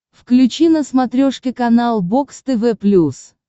включи на смотрешке канал бокс тв плюс